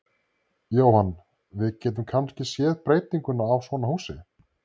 Jóhann: Við getum kannski séð breytingu á svona húsi?